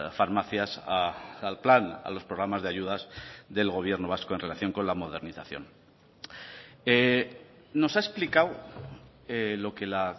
farmacias al plan a los programas de ayudas del gobierno vasco en relación con la modernización nos ha explicado lo que la